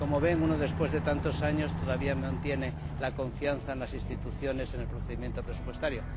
Como ven, uno, después de tantos años, todavía mantiene la confianza en las Instituciones, en el procedimiento presupuestario.